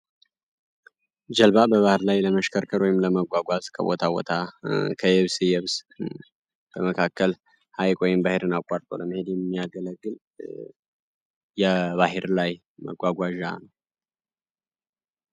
ጀልባ በባህር ላይ ለመሽከርከር ወይም ለመጓዝ ከቦታ ቦታ፣ ከየብስ የብስ በመካከል ሃይቅ ወይንም ባህርን አቋርጦ ለመሄድ የሚያገለግል የባህር ላይ መጓጓዣ ነው።